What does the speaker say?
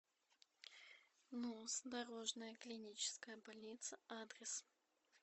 нуз дорожная клиническая больница адрес